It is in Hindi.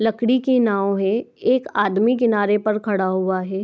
लकड़ी के नाव है एक आदमी किनारे पर खड़ा हुआ है।